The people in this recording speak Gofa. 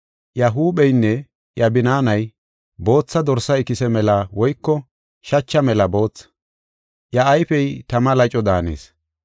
Iya huupheynne iya binaanay bootha dorsa ikise mela woyko shacha mela boothi; iya ayfey tama laco daanees.